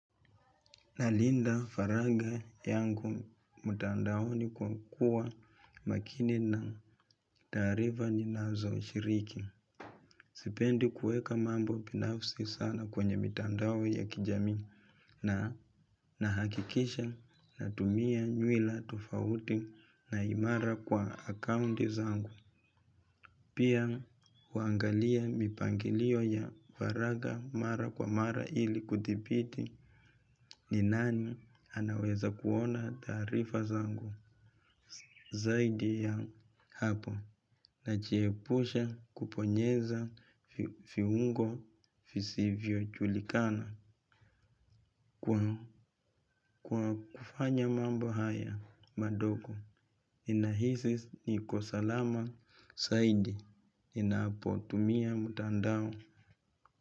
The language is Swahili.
Nalinda faragha yangu mtandaoni kwa kuwa makini na taarifa ninazoshiriki. Sipendi kuweka mambo binafsi sana kwenye mitandao ya kijamii na nahakikisha natumia nywila tofauti na imara kwa akaunti zangu. Pia huangalia mipangilio ya faragha mara kwa mara ili kuthibiti ni nani anaweza kuona taarifa zangu zaidi ya hapo najiepusha kubonyeza viungo visivyojulikana kwa kufanya mambo haya madogo. Ninahisi niko salama zaidi ninapotumia mtandao.